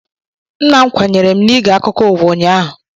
Nna m kwanyere m n'ige akụkọ ụwa ụnyaahụ